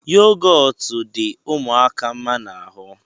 Yogọtu dị ụmụaka mma n'ahụ